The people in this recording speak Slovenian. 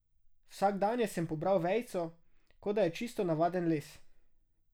Vsakdanje sem pobral vejico, kot da je čisto navaden les.